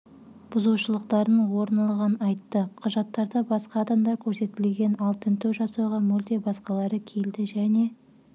бұзушылықтардың орын алғанын айтты құжаттарда басқа адамдар көрсетілген ал тінту жасауға мүлде басқалары келді және